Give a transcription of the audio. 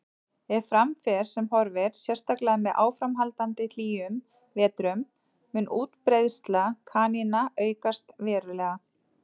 Ef fram fer sem horfir, sérstaklega með áframhaldandi hlýjum vetrum, mun útbreiðsla kanína aukast verulega.